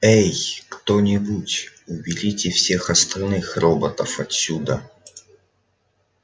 эй кто-нибудь уберите всех остальных роботов отсюда